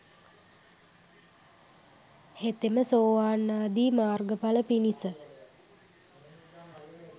හෙතෙම සෝවාන් ආදී මාර්ගඵල පිණිස